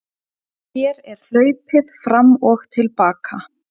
Hér er hlaupið fram og til baka.